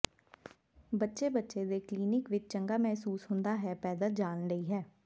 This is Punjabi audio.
ਬੱਚੇ ਬੱਚੇ ਦੇ ਕਲੀਨਿਕ ਵਿੱਚ ਚੰਗਾ ਮਹਿਸੂਸ ਹੁੰਦਾ ਹੈ ਪੈਦਲ ਜਾਣ ਲਈ ਹੈ